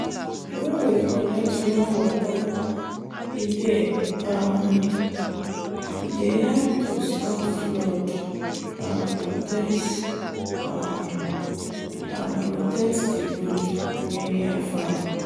when we collect rainwater e dey um help to stop flood and protect um di road wey near farm.